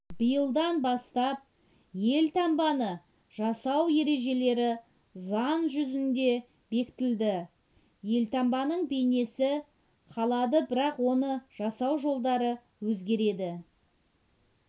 биылдан бастап елтаңбаны жасау ережелері заң жүзінде бекітілді елтаңбаның бейнесі қалады бірақ оны жасау жолдары өзгереді